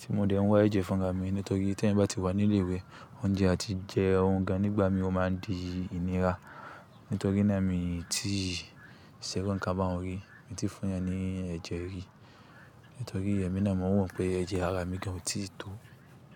tí mo dẹ́ n wá ẹ̀jẹ̀ fún ra mi, nítorí te ẹ̀yan bá ti wà ní ilé ìwé, oúnjẹ á ti jẹ́ ohun gan nígbà mi ó máa di ìnira. Nítorí náà mi tíì ṣẹ́ irú ńkan baun rí, mi ò tíì fún ẹ ní ẹ̀jẹ̀ rí, nítorí ẹ̀mi náà mo mọ̀ pé ẹ̀jẹ̀ ara mi gan ò tíì tó.